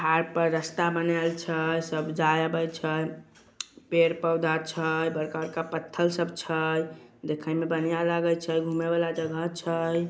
पहाड़ पर रास्ता बनेल छै। सब जाय-आबे छै पेड़-पौधा छै। बड़का-बड़का पत्थर सब छै। देखे में बढ़िया लागे छै घूमे वाला जगह छै।